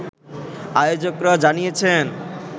আয়োজকরা জানিয়েছেন